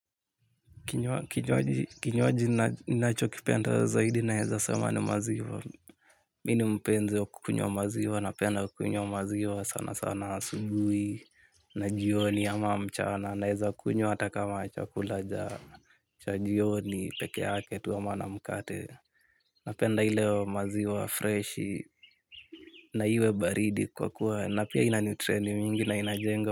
Kinywaji ni nacho kipenda zaidi naeza sema ni maziwa. Mini mpenzi wa kukunywa maziwa, napenda wa kukunywa maziwa sana sana asubui na jioni ama mchana. Naeza kukunywa hata kama chakula ja, cha jioni peke yake tu ama na mkate. Napenda ileo maziwa, freshi, na iwe baridi kwa kuwa na pia inanutreni mingi na inajenga.